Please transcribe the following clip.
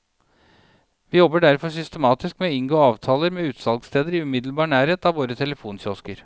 Vi jobber derfor systematisk med å inngå avtaler med utsalgssteder i umiddelbar nærhet av våre telefonkiosker.